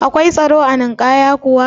Akwai tsaro a Ninkaya kuwa?